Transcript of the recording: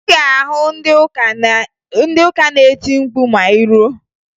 Ị ga-ahụ ndị ụka na-eti mkpu ma ị ruo